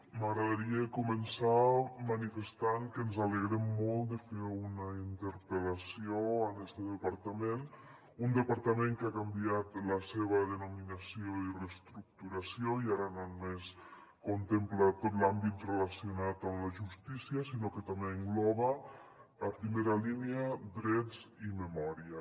m’agradaria començar manifestant que ens alegrem molt de fer una interpel·lació a este departament un departament que ha canviat la seva denominació i reestructuració i ara no només contempla tot l’àmbit relacionat amb la justícia sinó que també engloba a primera línia drets i memòria